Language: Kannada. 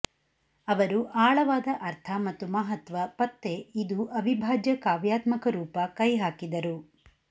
ಅವರು ಆಳವಾದ ಅರ್ಥ ಮತ್ತು ಮಹತ್ವ ಪತ್ತೆ ಇದು ಅವಿಭಾಜ್ಯ ಕಾವ್ಯಾತ್ಮಕ ರೂಪ ಕೈಹಾಕಿದರು